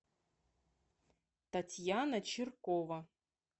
татьяна чиркова